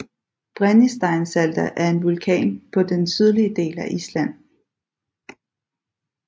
Brennisteinsalda er en vulkan på den sydlige del af Island